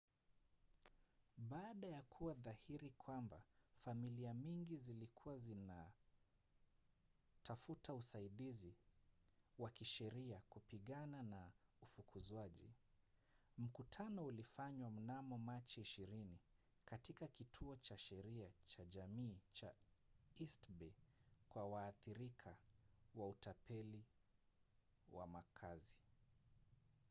baada ya kuwa dhahiri kwamba familia nyingi zilikuwa zinatafuta usaidizi wa kisheria kupigana na ufukuzwaji mkutano ulifanywa mnamo machi 20 katika kituo cha sheria cha jamii cha east bay kwa waathirika wa utapeli wa makazi